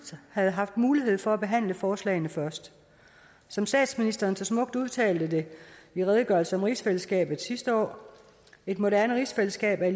havde haft mulighed for at behandle forslagene først som statsministeren så smukt udtalte det i redegørelse om rigsfællesskabet sidste år et moderne rigsfællesskab er